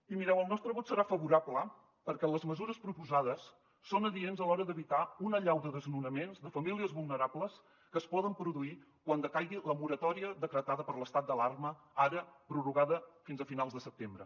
i mireu el nostre vot serà favorable perquè les mesures proposades són adients a l’hora d’evitar una allau de desnonaments de famílies vulnerables que es poden produir quan decaigui la moratòria decretada per l’estat d’alarma ara prorrogada fins a finals de setembre